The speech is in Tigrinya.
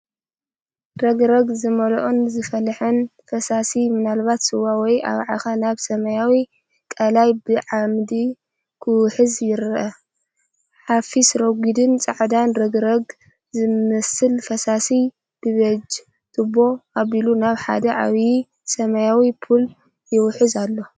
ረግረግ ዝመልኦን ዝፈልሐን ፈሳሲ ምናለባት ስዋ ወይ ኣባዓኸ ናብ ሰማያዊ ቐላይ ብዓመጽ ክውሕዝ ይርአ። ሓፊስ/ረጒድን ጻዕዳን ረግረግ ዝመስል ፈሳሲ ብቢጅ ቱቦ ኣቢሉ ናብ ሓደ ዓቢይ ሰማያዊ ፑል ይውሕዝ ኣሎ።